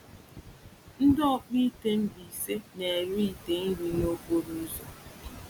Ndị ọkpụ ite Mbaise na-ere ite nri n’okporo ụzọ.